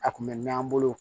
A kun bɛ mɛn an bolo